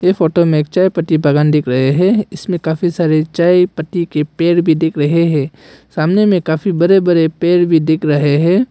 ये फोटो में एक चाय पत्ती बागान दिख रहे हैं इसमें काफी सारे चाय पत्ती के पेड़ भी दिख रहे हैं सामने में काफी बड़े बड़े पेड़ भी दिख रहे हैं।